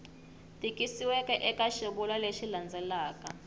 tikisiweke eka xivulwa lexi landzelaka